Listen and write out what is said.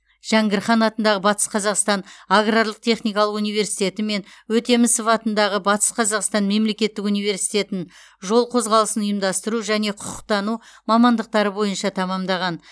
жәңгір хан атындағы батыс қазақстан аграрлық техникалық универститеті мен өтемісов атындағы батыс қазақстан мемлекеттік университетін жол қозғалысын ұйымдастыру және құқықтану мамандықтары бойынша тәмамдаған